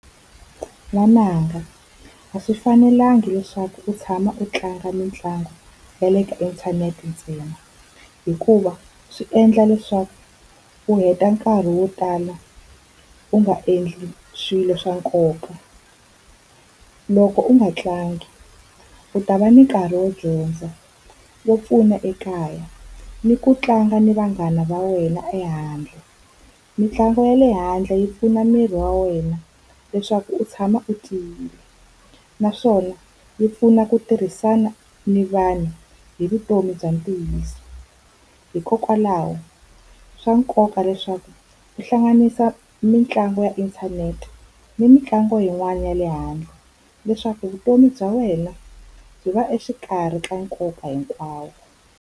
N'wananga a swi fanelanga leswaku u tshama u tlanga mitlangu ya le ka inthanete ntsena, hikuva swi endla leswaku u heta nkarhi wo tala u nga endli swilo swa nkoka. Loko u nga tlangi u ta va ni nkarhi wo dyondza, wo pfuna ekaya, ni ku tlanga ni vanghana va wena ehandle. Mitlangu ya le handle yi pfuna miri wa wena leswaku u tshama u tiyile, naswona yi pfuna ku tirhisana ni vanhu hi vutomi bya ntiyiso. Hikokwalaho swa nkoka leswaku u hlanganisa mitlangu ya inthanete ni mitlangu yin'wana ya le handle, leswaku vutomi bya wena byi va exikarhi ka nkoka hinkwawo.